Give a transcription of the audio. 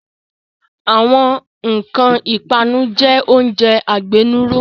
Àwọn nkan ipanu jẹ oúnjẹ agbénúró